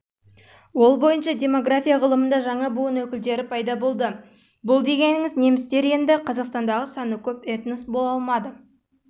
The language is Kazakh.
ол бойынша демография ғылымында жаңа буын өкілдері пайда болды бұл дегеніңіз немістер енді қазақстандағы саны көп